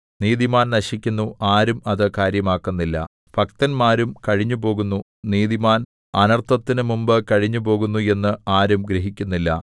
നീതിമാൻ നശിക്കുന്നു ആരും അത് കാര്യമാക്കുന്നില്ല ഭക്തന്മാരും കഴിഞ്ഞുപോകുന്നു നീതിമാൻ അനർത്ഥത്തിനു മുമ്പ് കഴിഞ്ഞുപോകുന്നു എന്ന് ആരും ഗ്രഹിക്കുന്നില്ല